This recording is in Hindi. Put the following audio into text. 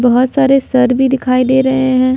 बहुत सारे सर भी दिखाई दे रहे हैं।